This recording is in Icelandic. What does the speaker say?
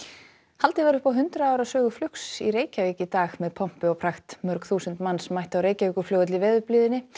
haldið var upp á hundrað ára sögu flugs í Reykjavík í dag með pompi og prakt mörg þúsund manns mættu á Reykjavíkurflugvöll í veðurblíðunni